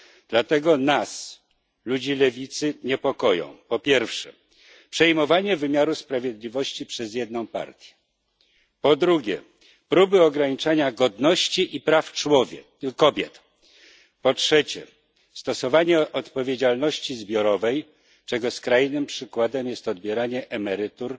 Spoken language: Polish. Dlatego nas, ludzi lewicy, niepokoją, po pierwsze, przejmowanie wymiaru sprawiedliwości przez jedną partię, po drugie, próby ograniczania godności i praw kobiet, po trzecie, stosowanie odpowiedzialności zbiorowej, czego skrajnym przykładem jest odbieranie emerytur